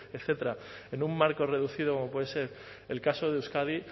etcétera en un marco reducido como puede ser el caso de euskadi